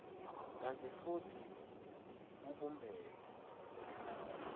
kantsi futsi kubumbene